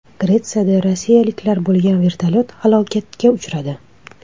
Gretsiyada rossiyaliklar bo‘lgan vertolyot halokatga uchradi.